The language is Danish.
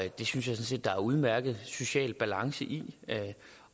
det synes jeg sådan set der er udmærket social balance i